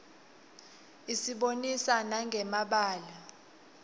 isibonisa nanqe mabalaue